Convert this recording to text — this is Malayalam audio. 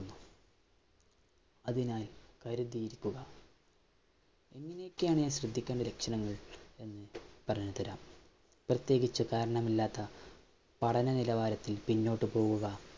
അതിനാൽ കരുതിയിരിക്കുക. എങ്ങനെയൊക്കെയാണ് ഞാന്‍ ശ്രദ്ധിക്കേണ്ട ലക്ഷണങ്ങള്‍ എന്ന് പറഞ്ഞുതരാം. പ്രത്യേകിച്ച് കാരണമില്ലാത്ത പഠനനിലവാരത്തിൽ പിന്നോട്ടു പോവുക,